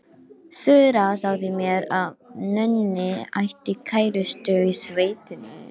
Þura sagði mér að Nonni ætti kærustu í sveitinni.